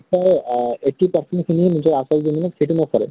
নিশ্চয় আহ eighty percent খিনি নিজৰ আচল জীৱণত সেইটো নকৰে ।